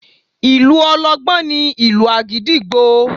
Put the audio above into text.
Ìlù ọlọ́gbọ́n ni ìlù àgídìgbo